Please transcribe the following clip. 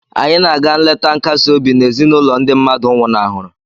Anyị na-aga nleta nkasi obi na ezinụlọ ndị mmadụ nwụnahụrụ